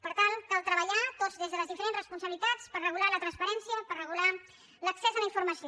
per tant cal treballar tots des de les diferents responsabilitats per regular la transparència per regular l’accés a la informació